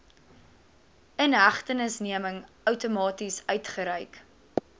inhegtenisneming outomaties uitgereik